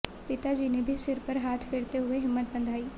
पिता जी ने भी सिर पर हाथ फेरते हुए हिम्मत बंधाई